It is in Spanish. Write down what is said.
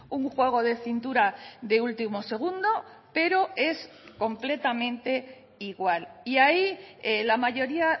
un juego de cintura de último segundo pero es completamente igual y ahí la mayoría